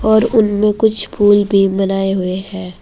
और उनमें कुछ फूल भी बनाए हुए हैं।